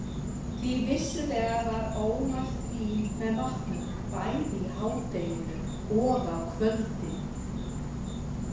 Því vissulega var ómælt vín með matnum, bæði í hádeginu og á kvöldin.